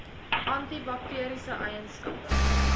anti bakteriese eienskappe